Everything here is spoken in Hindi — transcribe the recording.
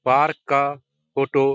पार्क का फोटो --